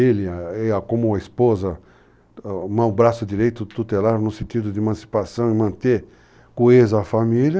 Ele, como esposa, o braço direito tutelar no sentido de emancipação e manter coesa a família.